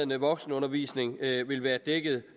voksenundervisning vil være dækket